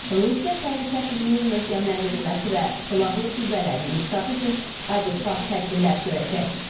Rusiya təhlükəsizliyin möhkəmləndirilməsi və silahlı qüvvələrin inkişafı üçün adekvat tədbirlər görəcək.